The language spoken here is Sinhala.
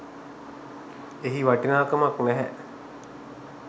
එහි වටිනාකමක් නැහැ.